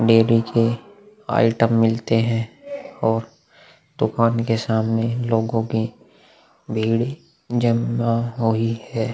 Dairy के item मिलते है और दुकान के सामने लोगों के भीड़ जमा हुई है।